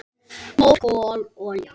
Mór, kol, olía